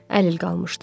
Əlil qalmışdım,